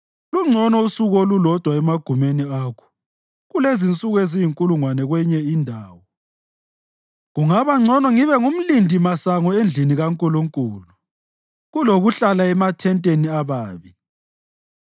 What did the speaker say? Lungcono usuku olulodwa emagumeni akho kulensuku eziyinkulungwane kwenye indawo; kungabangcono ngibe ngumlindimasango endlini kaNkulunkulu kulokuhlala emathenteni ababi.